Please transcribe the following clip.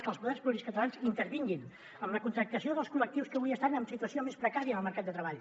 que els poders públics catalans intervinguin en la contractació dels col·lectius que avui estan en situació més precària en el mercat de treball